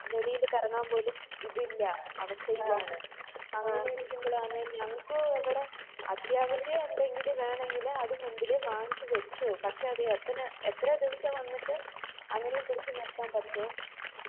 വെളിയില് കറങ്ങാൻ പോലും ഇത് ഇല്ല അവസ്ഥ ഇതാണ് അങ്ങനെ ഇരിക്കുമ്പോളാണ് ഞങ്ങക്കു ഇവിടെ അത്യാവിശം എന്തെങ്കിലു വേണെങ്കില് വാങ്ങിച്ച് വച്ചു പക്ഷെ അത് വേ തന്നെ എത്ര ദിവസം വന്നിട്ട് അങ്ങനെ പിടിച്ച് നിർത്തതാണ് പറ്റും